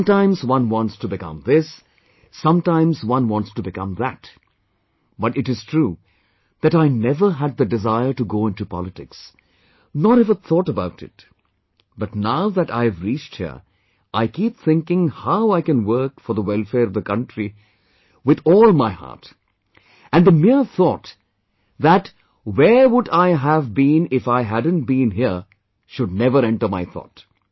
Sometimes one wants to become this, sometimes one wants to become that, but it is true that I never had the desire to go into politics, nor ever thought about it, but now that I have reached here,I keep thinking howI can work for the welfare of the country with all my heart, and the mere thought that 'Where would I have been if I hadn't been here' should never enter my thought